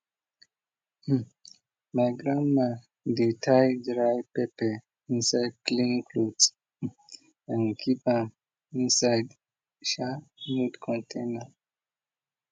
my grandma dey tie dry pepper inside clean cloth and keep am inside sha mud container